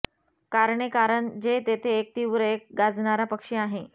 कारणे कारण जे तेथे एक तीव्र एक गाणारा पक्षी आहे